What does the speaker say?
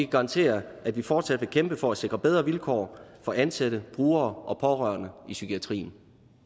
garantere at vi fortsat vil kæmpe for at sikre bedre vilkår for ansatte brugere og pårørende i psykiatrien